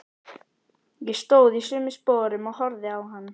Ég stóð í sömu sporum og horfði á hann.